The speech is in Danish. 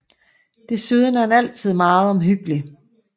Desuden er han altid meget omhyggelig